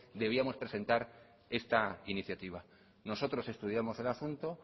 debíamos presentar esta iniciativa nosotros estudiamos el asunto